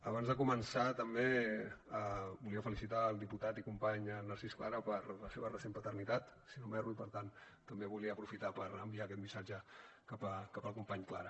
abans de començar també volia felicitar el diputat i company narcís clara per la seva recent paternitat si no m’erro i per tant també volia aprofitar per enviar aquest missatge cap al company clara